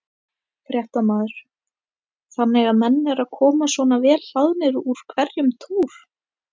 Fréttamaður: Þannig að menn eru að koma svona vel hlaðnir úr hverjum túr?